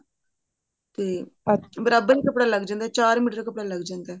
ਤੇ ਬਰਾਬਰ ਹੀ ਕੱਪੜਾ ਲੱਗ ਜਾਂਦਾ ਚਾਰ ਮੀਟਰ ਕੱਪੜਾ ਲੱਗ ਜਾਂਦਾ